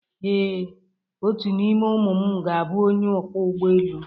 Ee, otu n’ime ụmụ m ga-abụ onye ọkwọ ụgbọelu